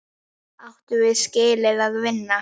Áttum við skilið að vinna?